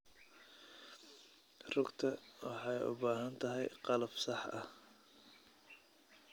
Rugta waxay u baahan tahay qalab sax ah.